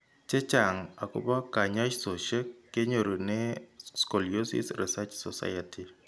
Chechang' akobo kanyoisoshek kenyorune Scoliosis Research Society.